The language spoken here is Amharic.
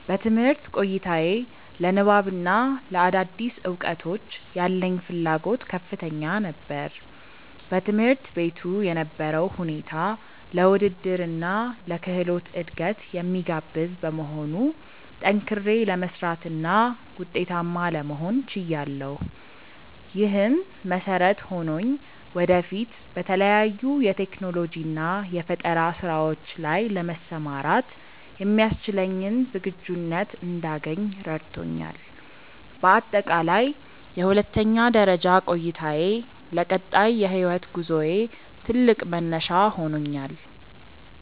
በትምህርት ቆይታዬ ለንባብና ለአዳዲስ እውቀቶች ያለኝ ፍላጎት ከፍተኛ ነበር። በትምህርት ቤቱ የነበረው ሁኔታ ለውድድርና ለክህሎት እድገት የሚጋብዝ በመሆኑ፣ ጠንክሬ ለመስራትና ውጤታማ ለመሆን ችያለሁ። ይህም መሰረት ሆኖኝ ወደፊት በተለያዩ የቴክኖሎጂና የፈጠራ ስራዎች ላይ ለመሰማራት የሚያስችለኝን ዝግጁነት እንዳገኝ ረድቶኛል። በአጠቃላይ የሁለተኛ ደረጃ ቆይታዬ ለቀጣይ የህይወት ጉዞዬ ትልቅ መነሻ ሆኖኛል።